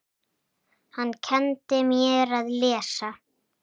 Hann kenndi mér að lesa.